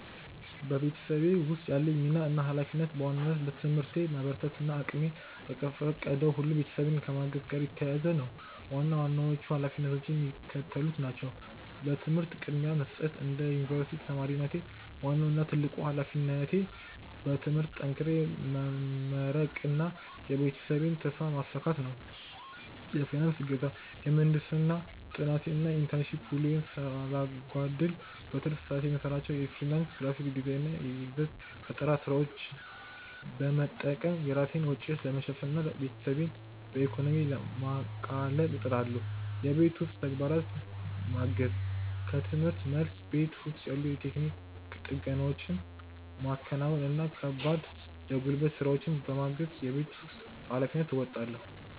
በቤተሰቤ ውስጥ ያለኝ ሚና እና ኃላፊነት በዋናነት በትምህርቴ መበርታት እና እቅሜ በፈቀደው ሁሉ ቤተሰቤን ከማገዝ ጋር የተያያዘ ነው። ዋና ዋናዎቹ ኃላፊነቶቼ የሚከተሉት ናቸው፦ ለትምህርት ቅድሚያ መስጠት፦ እንደ ዩኒቨርሲቲ ተማሪነቴ፣ ዋናው እና ትልቁ ኃላፊነቴ በትምህርቴ ጠንክሬ መመረቅና የቤተሰቤን ተስፋ ማሳካት ነው። የፋይናንስ እገዛ፦ የምህንድስና ጥናቴን እና የኢንተርንሺፕ ውሎዬን ሳላጓድል፣ በትርፍ ሰዓቴ የምሰራቸውን የፍሪላንስ ግራፊክ ዲዛይን እና የይዘት ፈጠራ ስራዎች በመጠቀም የራሴን ወጪዎች ለመሸፈን እና ቤተሰቤን በኢኮኖሚ ለማቃለል እጥራለሁ። የቤት ውስጥ ተግባራትን ማገዝ፦ ከርምህርት መልስ፣ ቤት ውስጥ ያሉ የቴክኒክ ጥገናዎችን ማከናወን እና ከባድ የጉልበት ስራዎችን በማገዝ የቤት ውስጥ ኃላፊነቴን እወጣለሁ።